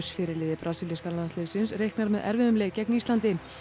fyrirliði brasilíska landsliðsins reiknar með erfiðum leik gegn Íslandi